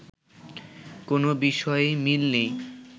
কোনো বিষয়েই মিল নেই